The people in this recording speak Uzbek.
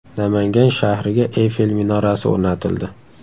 Namangan shahriga Eyfel minorasi o‘rnatildi.